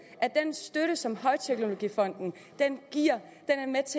at den støtte som højteknologifonden giver